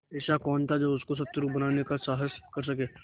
ऐसा कौन था जो उसको शत्रु बनाने का साहस कर सके